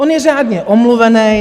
On je řádně omluvený.